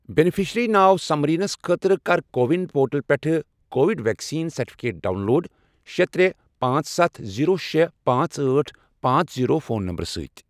beneficiary ناو سمریٖنَس خٲطرٕ کر کو وِن پورٹل پٮ۪ٹھ Covid vaccine certificate download شے، ترے، پانژھ، ستھَ، زیٖرو، شے، پانژھ، أٹھ، پانژھ، زیٖرو، فون نمبرٕ سۭتۍ